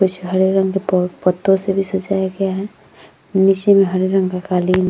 कुछ हरे रंग के पत्तों से भी सजाया गया है नीचे में हरे रंग का कालीन --